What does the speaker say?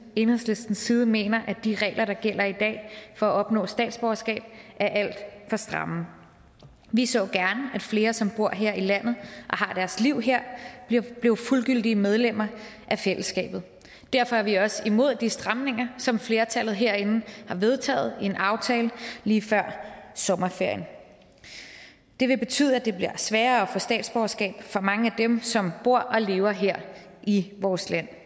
enhedslistens side mener at de regler der gælder i dag for at opnå statsborgerskab er alt for stramme vi så gerne at flere som bor her i landet og har deres liv her blev fuldgyldige medlemmer af fællesskabet derfor er vi også imod de stramninger som flertallet herinde har vedtaget i en aftale lige før sommerferien det vil betyde at det bliver sværere at få statsborgerskab for mange af dem som bor og lever her i vores land